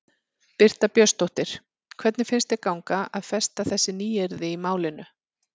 Birta Björnsdóttir: Hvernig finnst þér ganga að festa þessi nýyrði í málinu?